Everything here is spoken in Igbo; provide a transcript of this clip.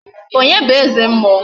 Onye bụ eze mmụọ?